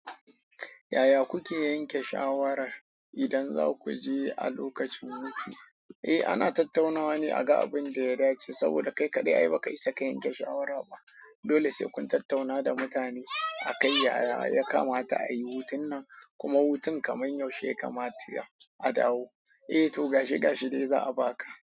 Yaya kuke yanke shawarar idan za ku je a lokacin hutu? Eh, ana tattaunawa ne a ga abin da ya dace saboda kai kaɗai ai ba ka isa ka yanke shawara ba. Dole sai kun tattauna da mutane. A kai yaya ya kamata a yi hutun nan kuma hutun kamar yaushe ya kamata a dawo. Eh to, gashi gashi dai za a baka.